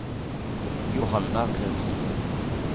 Johanna Knudsen